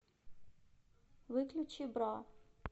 выключи бра